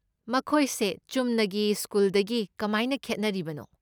ꯃꯈꯣꯏꯁꯦ ꯆꯨꯝꯅꯒꯤ ꯁ꯭ꯀꯨꯜꯗꯒꯤ ꯀꯃꯥꯏꯅ ꯈꯦꯠꯅꯔꯤꯕꯅꯣ?